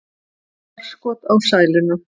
Forskot á sæluna